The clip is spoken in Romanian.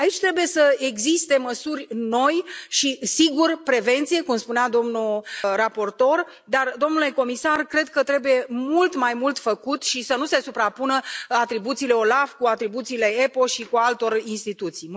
Aici trebuie să existe măsuri noi și, sigur, prevenție, cum spunea domnul raportor, dar, domnule comisar, cred că trebuie mult mai mult făcut și să nu se suprapună atribuțiile OLAF cu atribuțiile EPO și cu ale altor instituții.